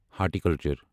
horticulture